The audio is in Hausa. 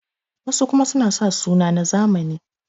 wasu kuma suna sa suna na zamani